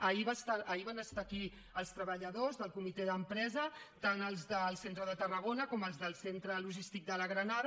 ahir van estar aquí els treballadors del comitè d’empresa tant els del centre de tarragona com els del centre logístic de la granada